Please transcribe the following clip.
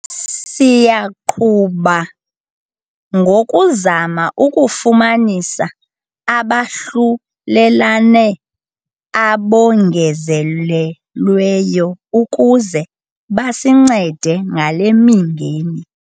Siyaqhuba ngokuzama ukufumanisa abahlulelane abongezelelweyo ukuze basincede ngale mingeni.